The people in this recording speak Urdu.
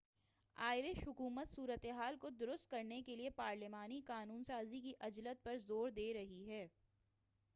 آئرش حکومت صورتحال کو درست کرنے کے لیے پارلیمانی قانون سازی کی عجلت پر زور دے رہی ہے